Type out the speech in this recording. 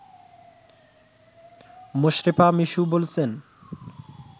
মোশরেফা মিশু বলছেন